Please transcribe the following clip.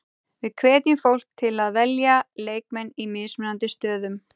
Við hvetjum fólk til að velja leikmenn í mismunandi stöðum.